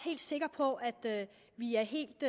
sikre på at vi er helt